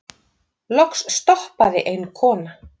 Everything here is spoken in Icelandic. Loks stoppaði ein kona.